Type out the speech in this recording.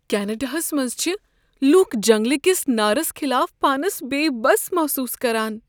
کینیڈاہس منٛز چھ لکھ جنگلہٕ کس نارس خلاف پانس بے بس محسوس کران۔